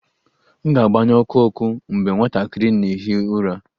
M ga-agbanyụ ọkụ ọkụ mgbe nwatakịrị na-ehi ụra